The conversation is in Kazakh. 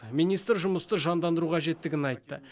министр жұмысты жандандыру қажеттігін айтты